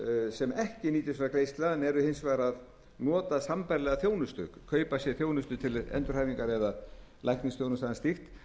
sem ekki nýtur þessara greiðslna en er hins vegar að nota sambærilega þjónustu kaupa sér þjónustu til endurhæfingar eða læknisþjónustu eða slíks